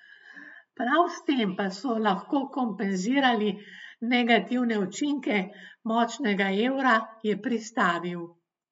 Prav s tem pa so lahko kompenzirali negativne učinke močnega evra, je pristavil.